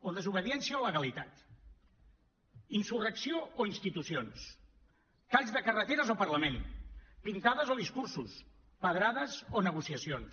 o desobediència o legalitat insurrecció o institucions talls de carreteres o parlament pintades o discursos pedrades o negociacions